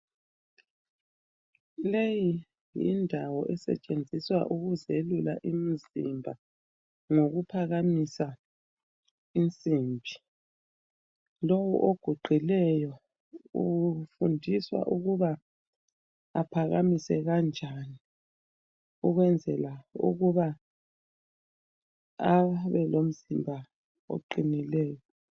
Leyi yindawo esetshenziswa ukuzelula imzimba ngokuphakamisa insimbi, lo oguqileyo ufundiswa ukuba aphakamise kanjani ukwezela ukuba abelomzimba oqinileyo.